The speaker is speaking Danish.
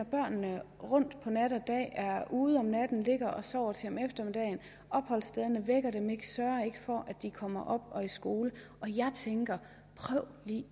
børnene rundt på nat og dag er ude om natten ligger og sover til om eftermiddagen opholdsstederne vækker dem ikke sørger ikke for at de kommer op og i skole og jeg tænker prøv lige